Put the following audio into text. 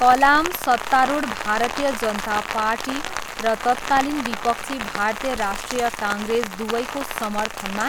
कलाम सत्तारूढ भारतीय जनता पार्टी र तत्कालीन विपक्षी भारतीय राष्ट्रिय काङ्ग्रेस दुवैको समर्थनमा